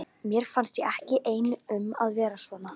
Mér finnst ég ekki einn um að vera svona